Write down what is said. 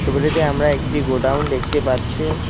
ছবিটিতে আমরা একটি গোডাউন দেখতে পাচ্ছি।